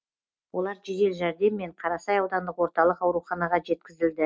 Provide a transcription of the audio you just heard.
олар жедел жәрдеммен қарасай аудандық орталық ауруханаға жеткізілді